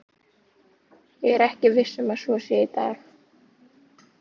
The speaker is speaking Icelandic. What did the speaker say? Ég er ekki viss um að svo sé í dag.